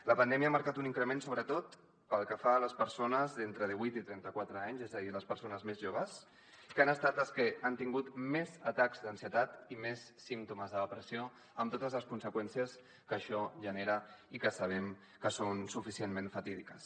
la pandèmia ha marcat un increment sobretot pel que fa a les persones d’entre divuit i trenta quatre anys és a dir les persones més joves que han estat les que han tingut més atacs d’ansietat i més símptomes de depressió amb totes les conseqüències que això genera i que sabem que són suficientment fatídiques